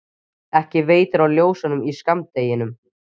ekki veitir af ljósunum í skammdeginu.